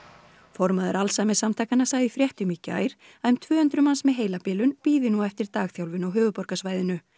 formaður Alzheimerssamtakanna sagði í fréttum í gær að um tvö hundruð manns með heilabilun bíði nú eftir dagþjálfun á höfuðborgarsvæðinu